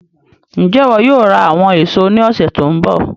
Njẹ iwọ yóò ra àwọn èso ní ọsẹ tó n bọ̀?